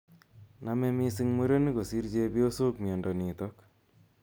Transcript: Name missing murenik kosiir chepyosok miondo nitok.